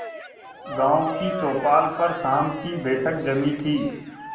गांव की चौपाल पर शाम की बैठक जमी थी